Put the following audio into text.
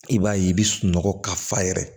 I b'a ye i bɛ sunɔgɔ ka fa yɛrɛ